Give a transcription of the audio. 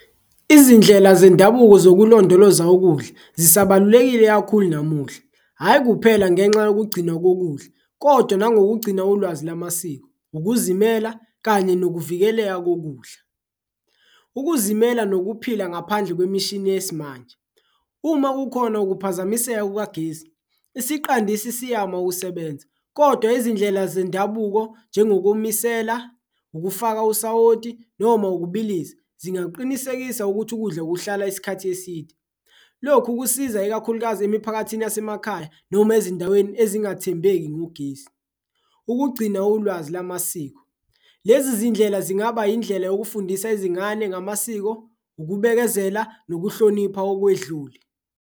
Izindlela zendabuko zokulondoloza ukudla zisabalulekile kakhulu namuhla, hhayi kuphela ngenxa yokugcina kokudla kodwa nangokugcina ulwazi lamasiko, ukuzimela kanye nokuvikeleka kokudla. Ukuzimela nokuphila ngaphandle kwemishini yesimanje, uma kukhona ukuphazamiseka kukagesi isiqandisi siyama ukusebenza kodwa izindlela zendabuko njengokumisela, ukufaka usawoti noma ukubilisa. Zingaqinisekisa ukuthi ukudla kuhlala isikhathi eside, lokhu kusiza ikakhulukazi emiphakathini yasemakhaya noma ezindaweni ezingathembeki ngogesi Ukugcina ulwazi lamasiko, lezi zindlela zingaba indlela yokufundisa izingane ngamasiko, ukubekezela nokuhlonipha okwedlule.